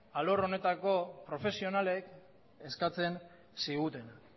arlo honetako profesionalek eskatzen ziguten